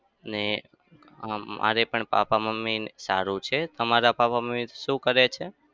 ને અમ મારે પણ પાપા-મમ્મી ને સારું છે. તમારા પાપા-મમ્મી શું કરે છે?